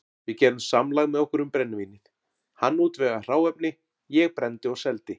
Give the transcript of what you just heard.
Við gerðum samlag með okkur um brennivínið, hann útvegaði hráefni, ég brenndi og seldi.